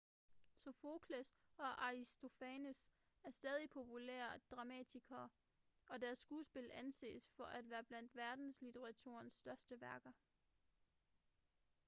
sofokles og aristofanes er stadig populære dramatikere og deres skuespil anses for at være blandt verdenslitteraturens største værker